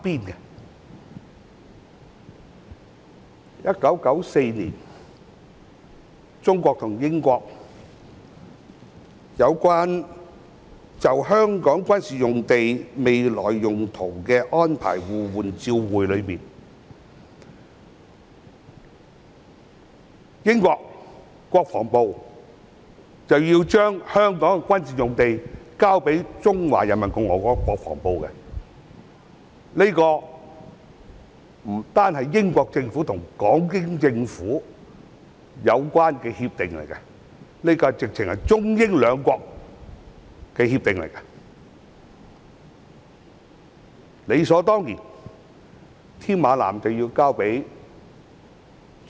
在1994年，中國和英國就香港軍事用地未來用途的安排互換照會，當中訂明英國國防部須將香港的軍事用地交予中華人民共和國國防部，這不單是英國政府與港英政府的協定，更是中英兩國之間的協定。